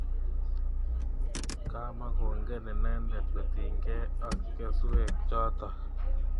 Komakongen inendet kotiny kei ak keswek chotok